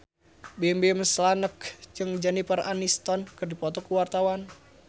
Bimbim Slank jeung Jennifer Aniston keur dipoto ku wartawan